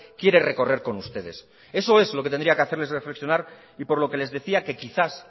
quiere recorrer con ustedes eso es lo que tendría que hacerles reflexionar y por lo que les decía que quizás